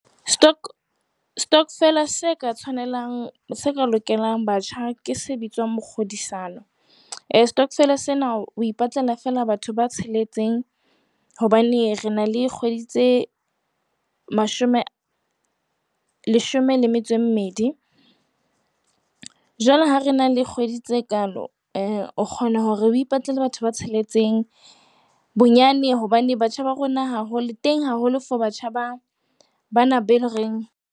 Stock stock-vela se ka tshwanelang se ka lokelang batjha ke se bitswang mokgodisano. Eh stokvel sena o ipatlela fela batho ba tsheletseng hobane re na le kgwedi tse mashome, leshome le metso e mmedi. Jwale ha re na le kgwedi tse kaalo, eh o kgona hore o ipatlele batho ba tsheletseng bonyane hobane batjha ba rona haholo teng haholo for batjha ba bana be le reng .